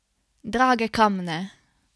Drage kamne?